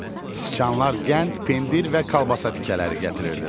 Siçanlar qənd, pendir və kolbasa tikələri gətirirdilər.